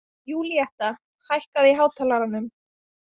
Júlíetta, hækkaðu í hátalaranum.